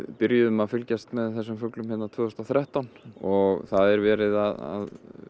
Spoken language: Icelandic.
byrjuðum að fylgjast með þessum fuglum hérna tvö þúsund og þrettán og það er verið að